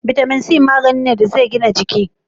Vitamin c magani ne da zai gina jiki